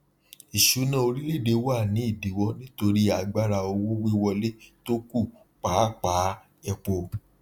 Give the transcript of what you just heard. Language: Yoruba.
ìsúná orílẹèdè wa ní ìdíwọ nítorí agbára owó wíwọlé tó kù pàápàá epo